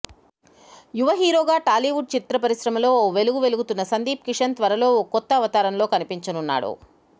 యువ హీరోగా టాలీవుడ్ చిత్ర పరిశ్రమలో ఓ వెలుగు వెలుగుతున్న సందీప్ కిషన్ త్వరలో ఓ కొత్త అవతారంలో కనిపించనున్నాడు